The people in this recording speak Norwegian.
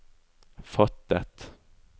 fattet